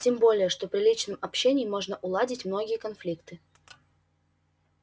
тем более что при личном общении можно уладить многие конфликты